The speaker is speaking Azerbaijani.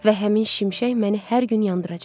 Və həmin şimşək məni hər gün yandıracaq.